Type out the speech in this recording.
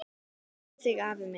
Við kveðjum þig, afi minn.